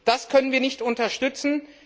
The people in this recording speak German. Das können wir nicht unterstützen!